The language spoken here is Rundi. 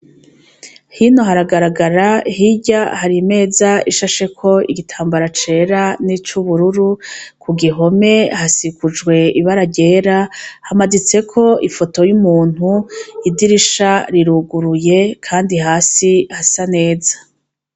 Hino haragaragara hirya hari imeza ishasheko igitambara cera n'icubururu, ku gihome hasikujwe ibara ryera hamaditseko ifoto y'umuntu, idirisha riruguruye, kandi hasi hasa neza.